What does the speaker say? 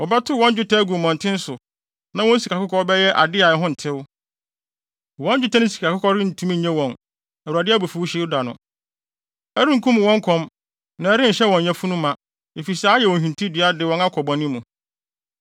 “ ‘Wɔbɛtow wɔn dwetɛ agu mmɔnten so, na wɔn sikakɔkɔɔ bɛyɛ ade a ɛho ntew. Wɔn dwetɛ ne sikakɔkɔɔ rentumi nnye wɔn Awurade abufuwhyew da no. Ɛrenkum wɔn kɔm na ɛrenhyɛ wɔn yafunu ma, efisɛ ayɛ wɔn hintidua de wɔn akɔ bɔne mu.